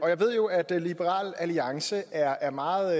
jeg ved jo at liberal alliance er meget